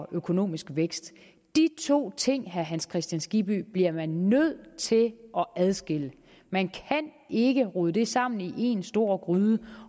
økonomisk vækst de to ting til herre hans kristian skibby bliver man nødt til at adskille man kan ikke rode det sammen i en stor gryde